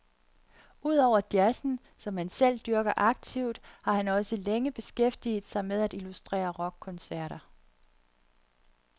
Udover jazzen, som han selv dyrker aktivt, har han også længe beskæftiget sig med at illustrere rockkoncerter.